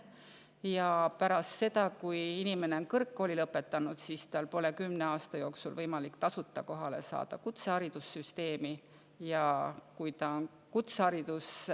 Ja pärast seda, kui inimene on kõrgkooli lõpetanud, pole tal kümne aasta jooksul võimalik kutseharidussüsteemis tasuta kohale saada.